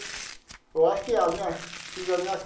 Eu acho que a minha fiz a minha.